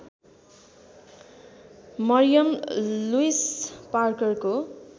Mariam Louise पार्करको